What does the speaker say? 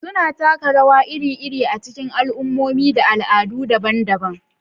Suna taka rawa iri-iri a cikin al'ummomi da al'adu daban-daban.